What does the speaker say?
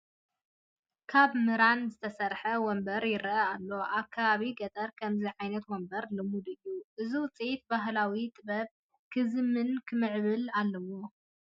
ካብ ምራን ዝተሰርሐ ወንበር ይርአ ኣሎ፡፡ ኣብ ከባቢ ገጠር ከምዚ ዓይነት ወንበር ልሙድ እዩ፡፡ እዚ ውፅኢት ባህላዊ ጥበብ ክዝምንን ክምዕብልን ኣለዎ፡፡